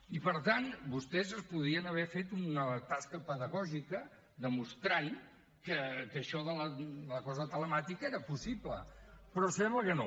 i per tant vostès podien haver fet una tasca pedagògica demostrant que això de la cosa telemàtica era possible però sembla que no